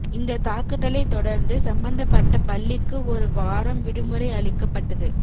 இந்த தாக்குதலை தொடர்ந்து சம்பந்தப்பட்ட பள்ளிக்கு ஒரு வாரம் விடுமுறை அளிக்கப்பட்டது